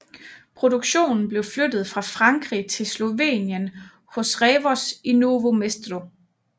Produktionen blev flyttet fra Frankrig til Slovenien hos Revoz i Novo Mesto